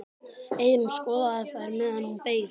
Eyrún skoðaði þær meðan hún beið.